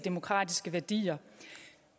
værdier